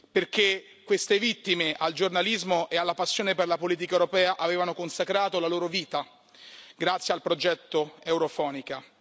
perché queste vittime, al giornalismo e alla passione per la politica europea avevano consacrato la loro vita grazie al progetto Europhonica.